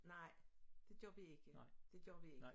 Nej det gør vi ikke det gør vi ikke